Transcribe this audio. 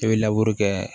I bɛ kɛ